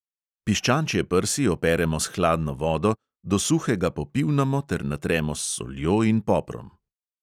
Piščančje prsi operemo s hladno vodo, do suhega popivnamo ter natremo s soljo in poprom.